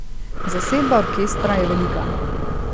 Zasedba orkestra je velika.